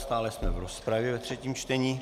Stále jsme v rozpravě ve třetím čtení.